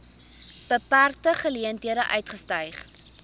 beperkte geleenthede uitgestyg